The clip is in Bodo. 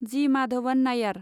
जि. माधवन नाइयार